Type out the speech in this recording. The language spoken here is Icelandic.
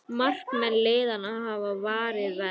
Markmenn liðanna hafa varið vel